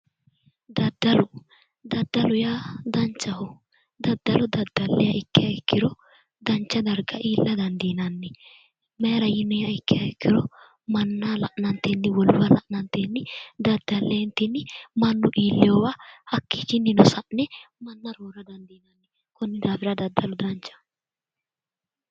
Daddalo daddaloho yaa danichaho daddalo daddalayiha ikkiha ikkiro danicha dariga iilla danidiinanni mayra yiniha ikkiha ikkiro manniha la'nanitenni woluyiha la'nantenni daddaleenitinni mannu ilewowa hakichinino sa'ne manna roora danidiinanni konni daafira daddalu danichaho